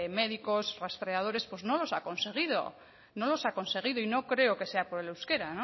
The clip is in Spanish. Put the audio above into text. médicos rastreadores pues no los ha conseguido no los ha conseguido y no creo que sea por el euskera